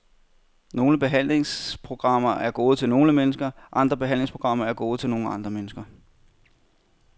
Nogle behandlingsprogrammer er gode til nogle mennesker, andre behandlingsprogrammer er gode til nogle andre mennesker.